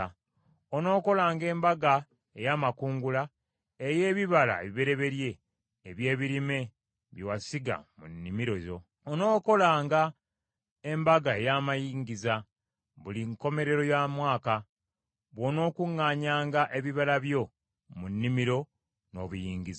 “Onookolanga Embaga ey’Amakungula ey’ebibala ebibereberye eby’ebirime bye wasiga mu nnimiro yo. “Onookolanga Embaga ey’Amayingiza buli nkomerero ya mwaka, bw’onookuŋŋaanyanga ebibala by’omu nnimiro, n’obiyingiza.